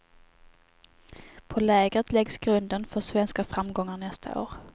På lägret läggs grunden för svenska framgångar nästa år.